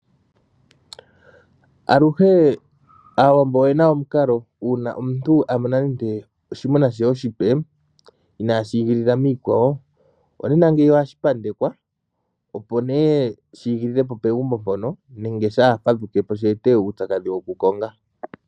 Aluhe aawambo oyena omikalo uuna omuntu amona oshinamwenyo she oshipe inaashi igi lila miikwawo, ohashi pandekwa opo shi igilile po pegumbo mpoka opo shaafadhukepo shi ete uupyakadhi wokukonga.